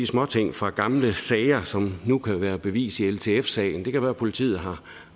småting fra gamle sager som nu kan være bevis i ltf sagen det kan være at politiet har